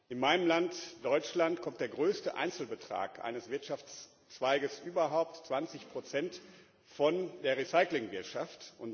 In meinem Land Deutschland kommt der größte Einzelbetrag eines Wirtschaftszweiges überhaupt 20 von der Recyclingwirtschaft.